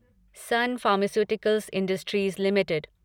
sun Pharmaceuticals Industries limited